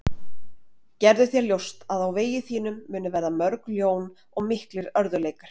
Gerðu þér ljóst að á vegi þínum munu verða mörg ljón og miklir örðugleikar.